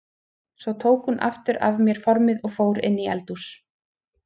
Svo tók hún aftur af mér formið og fór inn í eldhús.